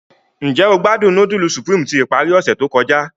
Njẹ o gbadun nudulu Supreme ti ipari ose to kọja?